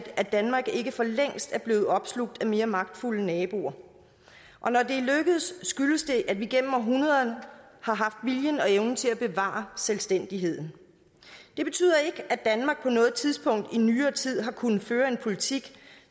at danmark ikke for længst er blevet opslugt af mere magtfulde naboer og når det er lykkedes skyldes det at vi igennem århundreder har haft viljen og evnen til at bevare selvstændigheden det betyder ikke at danmark på noget tidspunkt i nyere tid har kunnet føre en politik